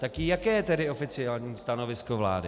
Tak jaké je tedy oficiální stanovisko vlády?